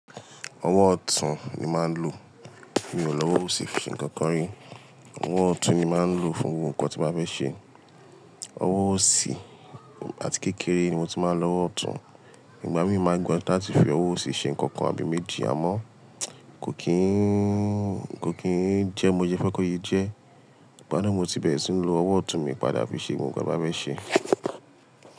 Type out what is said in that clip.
Ọwọ́ ọ̀tún ni màá ń lò. Mi ò lọ́wọ́ òsì ṣe nǹkan kan rí. Ọwọ́ ọ̀tún ni màá ń lò fún gbogbo nkàn tí n bá fẹ ṣe. Ọwọ́ òsì àti kékeré ni mo tí máa ń lò ọwọ́ ọ̀tún. Ìgbà míì maa gbinyaju láti fi ọwọ́ òsì ṣe nǹkan kan àbí méjì. Àmọ́ kò kínn, kò kínn jẹ́ bi mo sẹ fẹ́ kó se jẹ́. Ìgbà naá mo ti bẹ̀rẹ̀ sí ń lo ọwọ́ ọ̀tún mi padà fi ṣe gbogbo nkàn ti n bá fẹ ṣe.